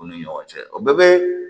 U ni ɲɔgɔn cɛ o bɛɛ bɛ